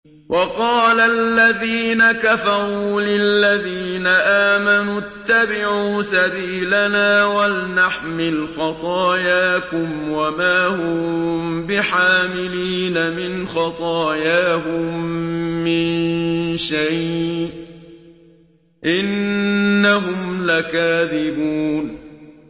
وَقَالَ الَّذِينَ كَفَرُوا لِلَّذِينَ آمَنُوا اتَّبِعُوا سَبِيلَنَا وَلْنَحْمِلْ خَطَايَاكُمْ وَمَا هُم بِحَامِلِينَ مِنْ خَطَايَاهُم مِّن شَيْءٍ ۖ إِنَّهُمْ لَكَاذِبُونَ